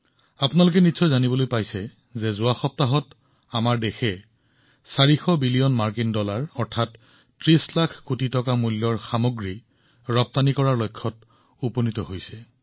আপুনি হয়তো শুনিছে যে ভাৰতে যোৱা সপ্তাহত ৪০০ বিলিয়ন ডলাৰ অৰ্থাৎ ৩০ লাখ কোটি টকাৰ ৰপ্তানিৰ লক্ষ্য লাভ কৰিছে